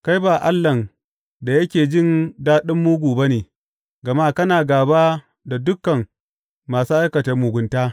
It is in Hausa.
Kai ba Allahn da yake jin daɗin mugu ba ne; gama kana gāba da dukan masu aikata mugunta.